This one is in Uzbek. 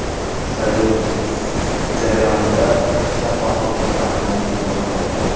Saylov jarayonida shaffoflikni ta’minlash imkoniyati ortadi.